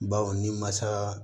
Baw ni masa